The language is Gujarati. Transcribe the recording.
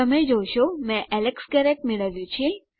તમે જોશો મેં એલેક્સ ગેરેટ મેળવ્યું છે